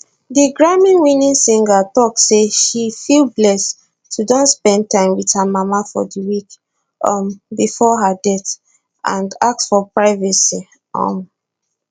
di grammywinning singer tok say she feel blessed to don spend time wit her mama for di week um bifor her death and ask for privacy um